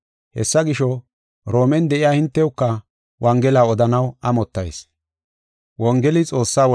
Hessa gisho, Roomen de7iya hintewuka wongela odanaw amottayis.